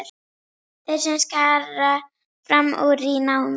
Þeir sem skara fram úr í námi.